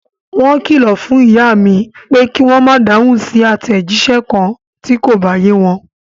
Wọ́n kìlọ̀ fún ìyá mi, pé kí wọ́n ma dáhùn sí àtẹ̀jísẹ́ kan ti ko bá ye wọn.